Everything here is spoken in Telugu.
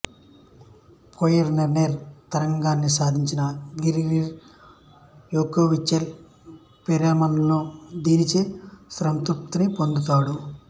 పోయిన్కేర్ తర్కాన్ని సాధించిన గ్రిగరీ యాకోవ్లిచ్ పెరెలమాన్ దీనినుంచే స్ఫూర్తిని పొందాడు